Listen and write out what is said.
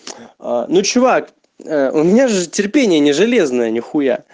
ну чувак ээ у меня же терпение не железное нихуя